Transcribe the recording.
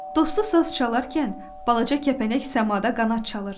Dostu saz çalarkən balaca kəpənək səmada qanad çalırdı.